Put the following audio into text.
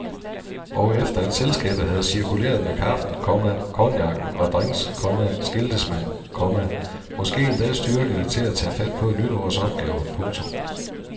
Og efter at selskabet havde cirkuleret med kaffen, komma cognacen og drinks, komma skiltes man, komma måske endda styrkede til at tage fat på et nyt års opgaver. punktum